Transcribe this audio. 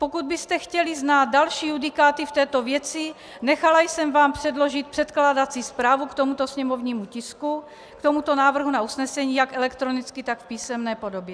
Pokud byste chtěli znát další judikáty v této věci, nechala jsem vám předložit předkládací zprávu k tomuto sněmovnímu tisku, k tomuto návrhu na usnesení, jak elektronicky, tak v písemné podobě.